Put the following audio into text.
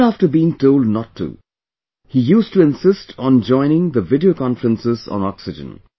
Even after being told not to, he used to insist on joining the video conferences on oxygen